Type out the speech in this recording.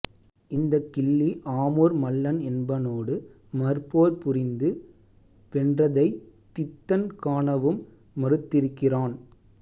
இந்தக் கிள்ளி ஆமூர் மல்லன் என்பனோடு மற்போர் புரிந்து வென்றதைத் தித்தன் காணவும் மறுத்திருக்கிறான்